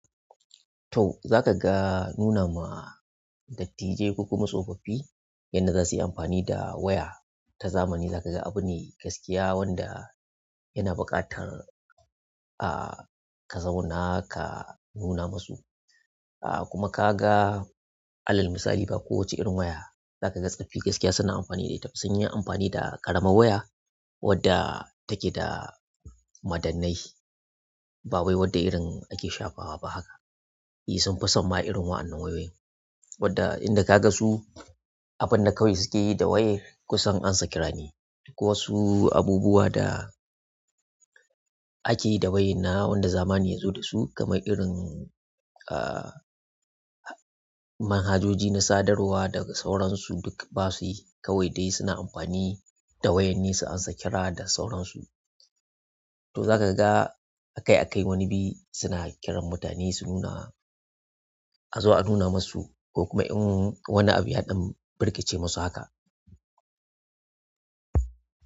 To, za ka ga nunawa dattijai ku kuma tsofaffi yadda za su yi amfani da waya ta zamani. Za ka ga abune gaskiya wanda yana buƙatar, ah, ka zauna ka nuna musu. Ah, kuma ka ga alal misali ba kowace irin waya za ka ga tsaffi gaskiya suna amfani da ita. Sun yi amfani da ƙaramar waya wadda take da madannai. Ba wai wadda irin ake shafawa ba haka. E, sun fi samma'a irin wa'annan wayoyin wadda in da ka ga su, abin da kawai suke yi da wayar, kusan ansakira ne. Duk wasu abubuwa da ake yi da wayan nan wanda zamani ya zo da su kamar irin, ah, manhajoji na sadarwa daga sauransu duk ba su yi kawai dai suna amfani da wayan ne su an sakira da sauransu. To za ka ga a kai a kai wani biyi suna kiran mutane su nuna, a zo a nuna masu ko kuma in wani abu yaɗan birkice musu haka.